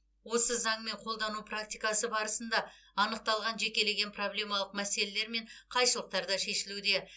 осы заңмен қолдану практикасы барысында анықталған жекелеген проблемалық мәселелер мен қайшылықтар да шешілуде